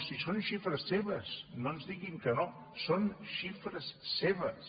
si són xifres seves no ens diguin que no són xifres seves